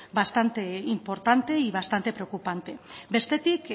bastante importante y bastante preocupante bestetik